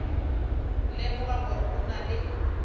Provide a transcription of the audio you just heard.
lemoga gore go na le